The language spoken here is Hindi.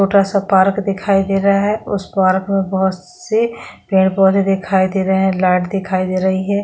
छोटा-सा पार्क दिखाई दे रहा है उस पार्क में बहोत से पेड़-पौधे दिखाई दे रहे है लाइट्स दिखाई दे रही है।